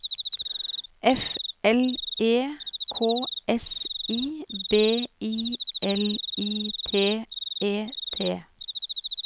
F L E K S I B I L I T E T